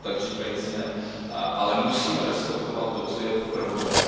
tak říkajíce poprat, ale musíme respektovat to, co je prvořadé.